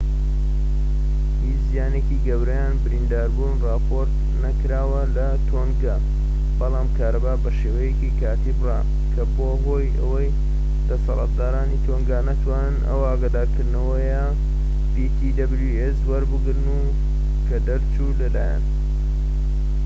هیچ زیانێکی گەورە یان برینداربوون راپۆرت نەکراوە لە تۆنگا بەڵام کارەبا بە شێوەیەکی کاتی بڕا کە بووە هۆی ئەوەی دەسەڵاتدارانی تۆنگا نەتوانن ئەو ئاگادارکردنەوەیە وەربگرن کە دەرچوو لەلایەن ptwc